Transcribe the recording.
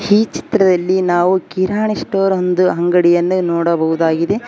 ಈ ಚಿತ್ರದಲ್ಲಿ ನಾವು ಕಿರಾಣಿ ಸ್ಟೋರ್ ಒಂದು ಅಂಗಡಿಯನ್ನು ನೋಡಬಹುದಾಗಿದೆ.